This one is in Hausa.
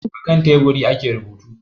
A kan teburi ake rubutu